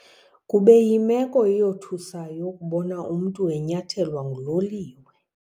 Kube yimeko eyothusayo ukubona umntu enyathelwa nguloliwe.